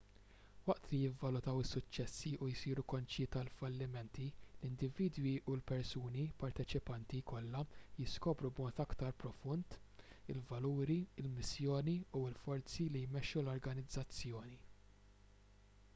waqt li jivvalutaw is-suċċessi u jsiru konxji tal-fallimenti l-individwi u l-persuni parteċipanti kollha jiskopru b'mod aktar profond il-valuri il-missjoni u l-forzi li jmexxu l-organizzazzjoni